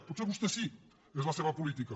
potser vostès sí és la seva política